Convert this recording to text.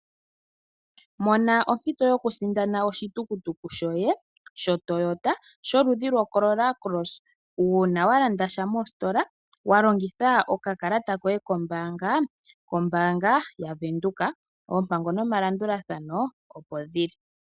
Mona ompito yoku sindana oshitukutuku shoye sho Toyota sholudhi loCorolla Cross uuna walanda sha mositola walongitha oka kalata koye koombanga yaVenduka. Oompango noma landulathano opo dhili .